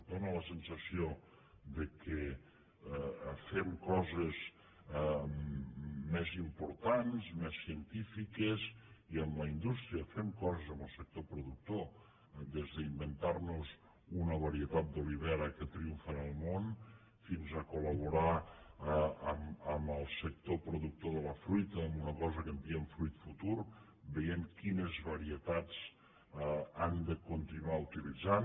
dóna la sensació que fem coses més importants més científiques i amb la indústria i fem coses amb el sector productor des d’inventar nos una varietat d’olivera que triomfa en el món fins a col·laborar amb el sector productor de la fruita amb una cosa que en diem fruit futur veient quines varietats han de continuar utilitzant